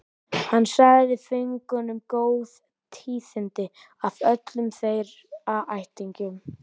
Hann sagði föngunum góð tíðindi af öllum þeirra ættingjum.